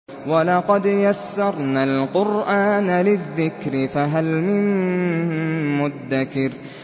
وَلَقَدْ يَسَّرْنَا الْقُرْآنَ لِلذِّكْرِ فَهَلْ مِن مُّدَّكِرٍ